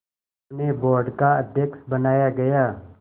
उन्हें बोर्ड का अध्यक्ष बनाया गया